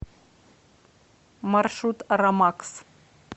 маршрут рамакс